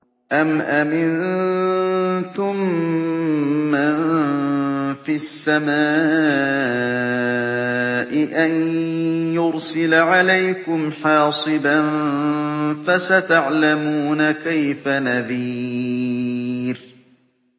أَمْ أَمِنتُم مَّن فِي السَّمَاءِ أَن يُرْسِلَ عَلَيْكُمْ حَاصِبًا ۖ فَسَتَعْلَمُونَ كَيْفَ نَذِيرِ